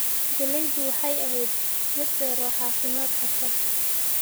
Galleydu waxay ahayd mid dheer oo caafimaad qabta.